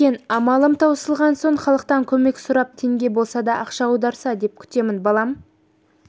екен амалым таусылған соң халықтан көмек сұрап теңге болса да ақша аударса деп күтемін балам